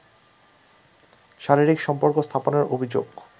শারীরিক সম্পর্ক স্থাপনের অভিযোগ